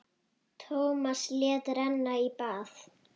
Tómas lét renna í bað.